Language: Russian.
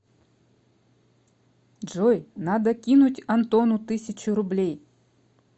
джой надо кинуть антону тысячу рублей